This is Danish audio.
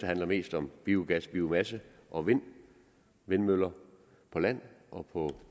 handler mest om biogas biomasse og vind vindmøller på land og på